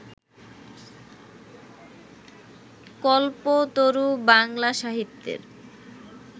কল্পতরু বাংলা সাহিত্যের